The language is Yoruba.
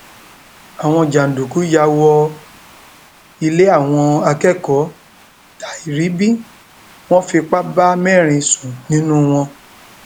àwọn jàǹdùkú yà wọ ilé àwọn akẹkọọ tai ribín wọn fipá bá mẹrin sùn nínú wọn